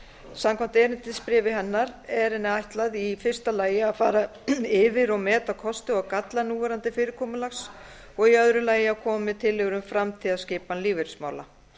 samkvæmt erindisbréfi hennar er henni sérstaklega ætlað að fara yfir núverandi fyrirkomulags og í öru lagi að koma með tillögur um framtíðarskipan lífeyrismála